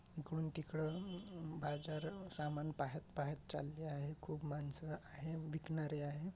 इकडून तिकड बाजार समान पाहत पाहत चालले आहेत खूप मानस आहे विकणारे आहे.